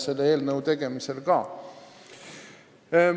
Mis siis Viimsis toimub?